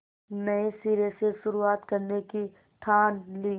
नए सिरे से शुरुआत करने की ठान ली